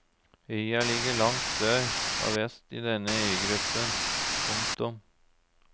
Øya ligger langt sør og vest i denne øygruppen. punktum